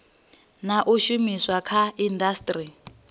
na u shumiswa kha indasiteri